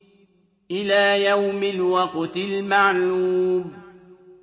إِلَىٰ يَوْمِ الْوَقْتِ الْمَعْلُومِ